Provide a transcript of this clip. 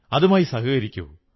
അതുമായി സഹകരിക്കൂ